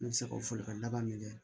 Ne bɛ se ka fɔlikala minɛ